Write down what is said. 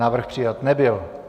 Návrh přijat nebyl.